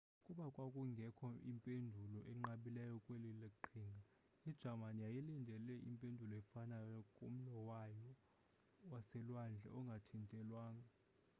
kuba kwakungekho impendulo inqabileyo kweli qhinga ijamani yayilindele impendulo efanayo kumlo wayo waselwandle ongathintelwanga